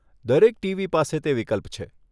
દરેક ટીવી પાસે તે વિકલ્પ છે.